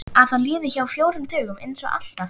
Að það líði hjá á fjórum dögum einsog alltaf.